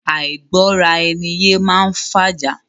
Àìgbọ́ra ẹni yé máá ń fàjà.